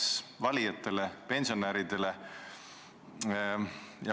– valetas valijatele, pensionäridele.